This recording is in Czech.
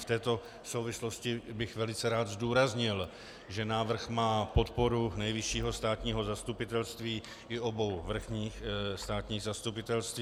V této souvislosti bych velice rád zdůraznil, že návrh má podporu Nejvyššího státního zastupitelství i obou vrchních státních zastupitelství.